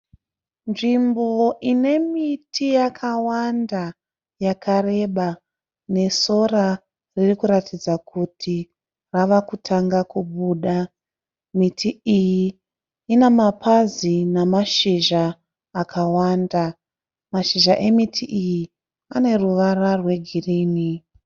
Nzvimbo ine miti yakawanda yakareba nesora riri kuratidaz kuti ravakutanga kubuda. Miti iyi ina mapazi nemazhizha akawanda, mashizha emiti iyi ane ruvara rwe girini.